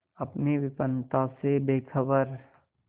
अपनी विपन्नता से बेखबर